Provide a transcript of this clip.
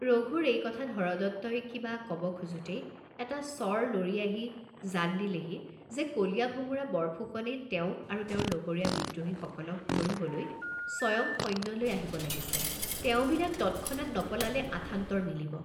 ৰঘুৰ এই কথাত হৰদত্তই কিবা কব খোজোতেই এটা চৰ লৰি আহি জান দিলেহি যে কলীয়াভোমোৰা বৰফুকনে তেওঁক আৰু তেওঁৰ লগৰীয়া বিদ্ৰোহীসকলক ধৰিবলৈ স্বয়ং সৈন্য লৈ আহিব লাগিছে, তেওঁবিলাক তৎক্ষণাৎ নপলালে আথান্তৰ মিলিব।